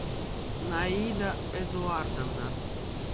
наида эдуардовна